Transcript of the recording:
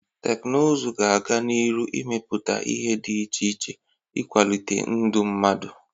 Teknụzụ ga-aga n'iru imepụta ihe dị iche iche ịkwalite ndụ mmadụ.